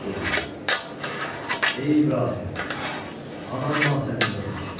Dedi: "Ey İbrahim, anam matəmində otursun.